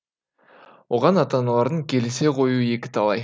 оған ата аналардың келісе қоюы екіталай